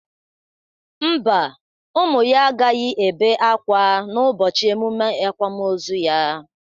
Mba, ụmụ ya agaghị ebe ákwá n'ụbọchị emụme akwamoozu ya.